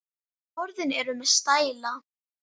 Orðin eru með stæla.